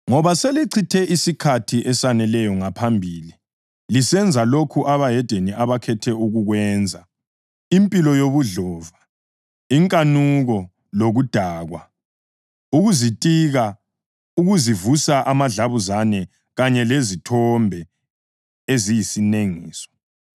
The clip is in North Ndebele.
Ngoba selichithe isikhathi esaneleyo ngaphambili lisenza lokho abahedeni abakhetha ukukwenza, impilo yobudlova, inkanuko, lokudakwa, ukuzitika, ukuzivusa amadlabuzane kanye lezithombe eziyisinengiso.